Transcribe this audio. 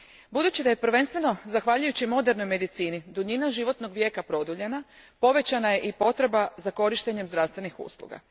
Budući da je prvenstveno zahvaljujući modernoj medicini, duljina životnog vijeka produljena, povećana je i potreba za korištenjem zdravstvenih usluga.